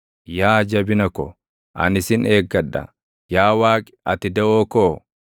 Yaa Jabina ko, ani sin eeggadha; yaa Waaqi ati daʼoo koo,